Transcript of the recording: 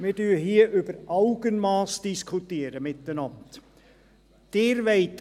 » Wir diskutieren hier miteinander über das Augenmass.